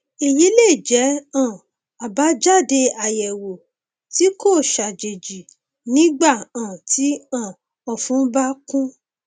èyí lè jẹ um àbájáde àyẹwò tí kò ṣàjèjì nígbà um tí um ọfun bá kún